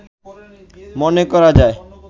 মনে করা যায়